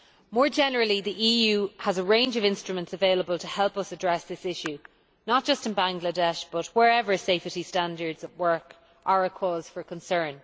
More generally, the EU has a range of instruments available to help us address this issue, not just in Bangladesh but wherever safety standards at work are a cause for concern.